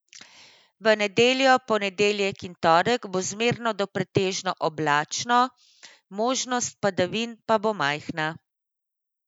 V nedeljo, ponedeljek in torek bo zmerno do pretežno oblačno, možnost padavin pa bo majhna.